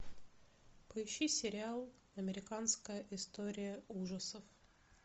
поищи сериал американская история ужасов